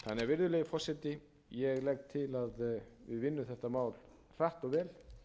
virðulegi forseti ég legg til að við vinnum þetta mál hratt og vel það er